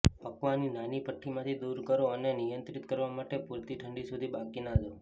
પકાવવાની નાની ભઠ્ઠી માંથી દૂર કરો અને નિયંત્રિત કરવા માટે પૂરતી ઠંડી સુધી બાકીના દો